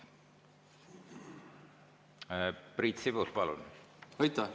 Priit Sibul, palun!